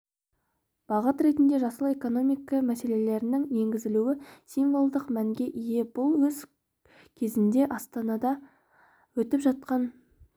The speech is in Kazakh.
бағыт ретінде жасыл экономика мәселелерінің енгізілуі символдық мәнге ие бұл өз кезегінде астанада өтіп жатқан